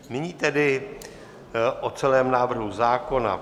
Nyní tedy o celém návrhu zákona.